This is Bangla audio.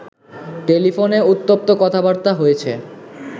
টেলিফোনে উত্তপ্ত কথাবার্তা হয়েছে